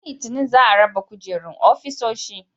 Ran Litinin za a raba kujerun ofisoshi.